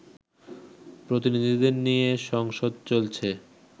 প্রতিনিধিদের নিয়ে সংসদ চলছে